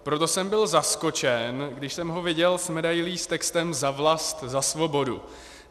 Proto jsem byl zaskočen, když jsem ho viděl s medailí s textem Za vlast, za svobodu.